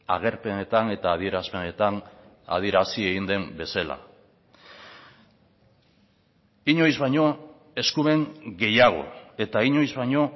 agerpenetan eta adierazpenetan adierazi egin den bezala inoiz baino eskumen gehiago eta inoiz baino